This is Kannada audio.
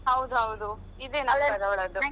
ಹೌದು ಹೌದು. ಇದೆ number ಅವಳದ್ದು.